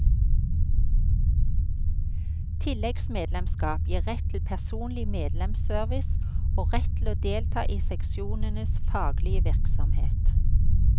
Tilleggsmedlemskap gir rett til personlig medlemsservice og rett til å delta i seksjonenes faglige virksomhet.